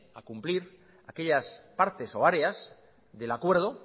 a cumplir aquellas partes o áreas del acuerdo